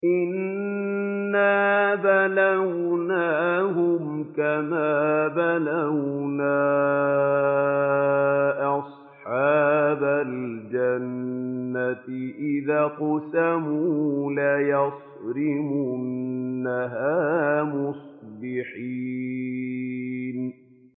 إِنَّا بَلَوْنَاهُمْ كَمَا بَلَوْنَا أَصْحَابَ الْجَنَّةِ إِذْ أَقْسَمُوا لَيَصْرِمُنَّهَا مُصْبِحِينَ